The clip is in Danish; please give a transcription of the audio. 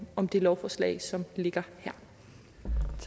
om det lovforslag som ligger